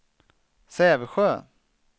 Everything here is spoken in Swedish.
Sävsjö